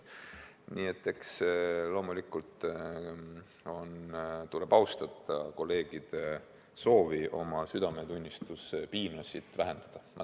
Nii et eks loomulikult tuleb austada kolleegide soovi oma südametunnistuspiina vähendada.